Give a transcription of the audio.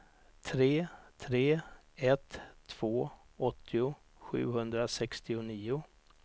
tre tre ett två åttio sjuhundrasextionio